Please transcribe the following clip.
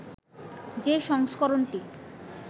যে সংস্করণটি